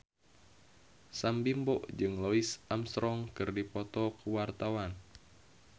Sam Bimbo jeung Louis Armstrong keur dipoto ku wartawan